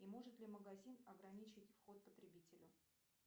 и может ли магазин ограничить вход потребителю